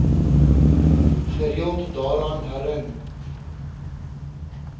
gereeld daaraan herin